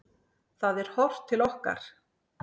Það er horft til okkar.